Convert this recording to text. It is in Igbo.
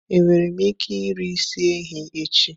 Enwere m ike iri isi ehi echi?